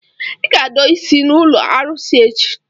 Ị ga-adọ isi n'ụlọ arụsị echi!